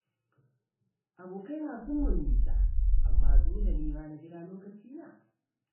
Abokaina sun mun nisa amma dole ni ma na jira lokacina.